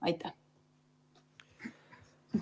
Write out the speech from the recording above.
Aitäh!